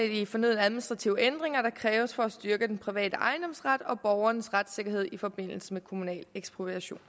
de fornødne administrative ændringer der kræves for at styrke den private ejendomsret og borgernes retssikkerhed i forbindelse med kommunal ekspropriation